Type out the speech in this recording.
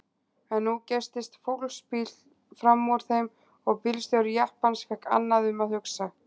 En nú geystist fólksbíll frammúr þeim og bílstjóri jeppans fékk annað um að hugsa.